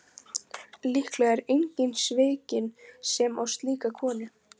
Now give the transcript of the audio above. Líklega er enginn svikinn sem á slíka konu.